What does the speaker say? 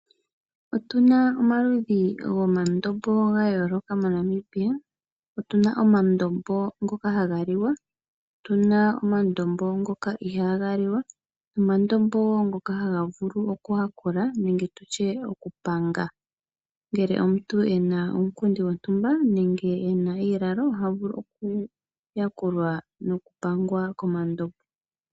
Otuna omaludhi gomandombo ga yooloka moNamibia. Otuna omandombo ngoka haga liwa, otuna omandombo ngoka ihaaga liwa nomandombo wo ngoka haga vulu okuyakula nenge tutye okupanga. Ngele omuntu ena uunkundi wontumba nenge tutye iilalo ohavulu oku yakulwa noku pangwa komandombo.